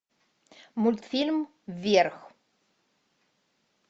мультфильм вверх